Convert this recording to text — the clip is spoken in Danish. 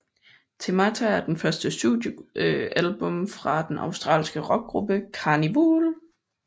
Themata er det første studiealbum fra den australske rockgruppe Karnivool